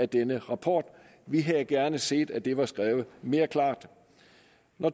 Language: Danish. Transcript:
denne rapport vi havde gerne set at det var skrevet mere klart